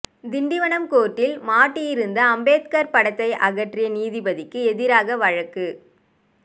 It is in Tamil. திண்டிவனம் கோர்ட்டில் மாட்டியிருந்த அம்பேத்கர் படத்தை அகற்றிய நீதிபதிக்கு எதிராக வழக்கு